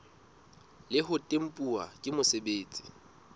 le ho tempuwa ke mosebeletsi